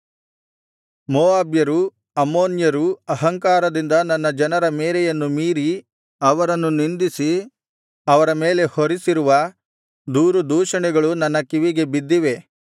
ಮೋವಾಬ್ಯರೂ ಅಮ್ಮೋನ್ಯರೂ ಅಹಂಕಾರದಿಂದ ನನ್ನ ಜನರ ಮೇರೆಯನ್ನು ಮೀರಿ ಅವರನ್ನು ನಿಂದಿಸಿ ಅವರ ಮೇಲೆ ಹೊರಿಸಿರುವ ದೂರುದೂಷಣೆಗಳು ನನ್ನ ಕಿವಿಗೆ ಬಿದ್ದಿವೆ